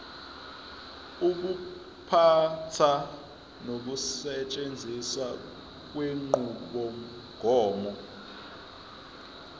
ukuphatha nokusetshenziswa kwenqubomgomo